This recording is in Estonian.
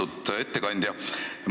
Austatud ettekandja!